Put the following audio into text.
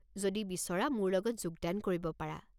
যদি বিচৰা মোৰ লগত যোগদান কৰিব পাৰা।